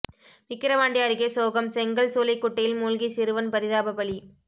விக்கிரவாண்டி அருகே சோகம் செங்கல் சூளை குட்டையில் மூழ்கி சிறுவன் பரிதாப பலி